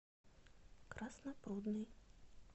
краснопрудный